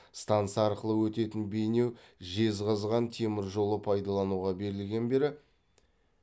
станса арқылы өтетін бейнеу жезқазған темір жолы пайдалануға берілген бері